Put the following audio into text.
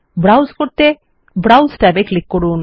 ব্রাউস করতে browse tab এ click করুন